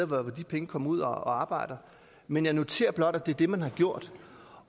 hvor de penge kommer ud at arbejde men jeg noterer blot at det er det man har gjort